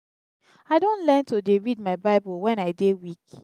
i don learn to dey read my bible wen i dey weak.